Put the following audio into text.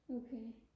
okay